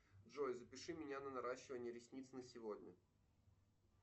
джой запиши меня на наращивание ресниц на сегодня